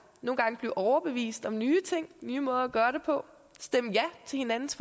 nogle gange blive overbevist om nye ting nye måder at gøre det på stemme ja til hinandens